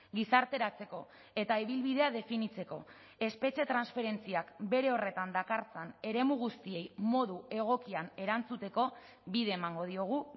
gizarteratzeko eta ibilbidea definitzeko espetxe transferentziak bere horretan dakartzan eremu guztiei modu egokian erantzuteko bide emango diogu